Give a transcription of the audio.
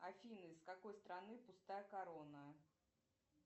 афина из какой страны пустая корона